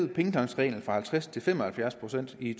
i pengetanksreglen fra halvtreds procent til fem og halvfjerds procent i